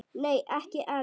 Nei ekki enn.